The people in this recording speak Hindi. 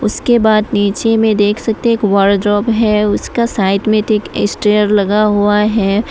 इसके बाद नीचे में देख सकते हैं एक वार जांब है उसका साइड में स्टेयर लगा हुआ है।